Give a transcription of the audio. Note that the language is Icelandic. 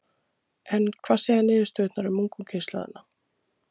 En hvað segja niðurstöðurnar um ungu kynslóðina?